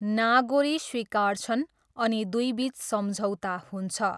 नागोरी स्वीकार्छन् अनि दुईबिच सम्झौता हुन्छ।